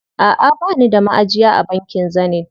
Aʼa bani da maʼajiya a bankin Zenith.